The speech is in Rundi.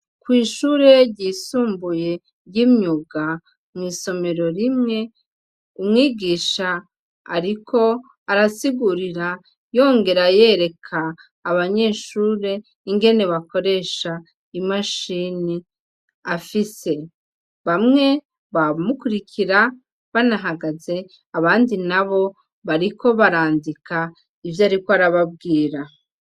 Kw'ishure ryisumbuye ry'imyuga mw'isomero rimwe umwigisha, ariko arasigurira yongera yereka abanyeshure ingene bakoresha imashini afise bamwe bamukurikira banahagaze abandi na bo bariko barandika ivyo, ariko arababwira.